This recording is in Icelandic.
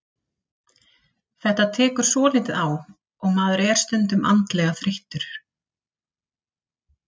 Þetta tekur svolítið á og maður er stundum andlega þreyttur.